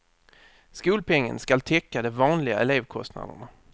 Skolpengen skall täcka de vanliga elevkostnaderna.